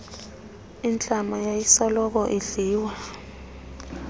intlama yayisoloko idliwa